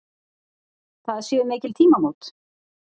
Það séu mikil tímamót.